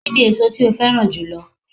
Kíni èso tí o féràn jùlo